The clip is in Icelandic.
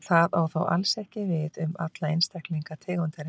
Það á þó alls ekki við um alla einstaklinga tegundarinnar.